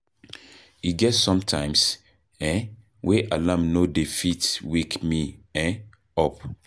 E get sometimes um wey alarm no dey fit wake me um up.